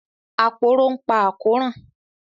Aporó ń pa àkóràn